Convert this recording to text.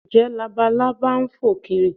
Ǹjẹ́ Labalábá ń fò kiri?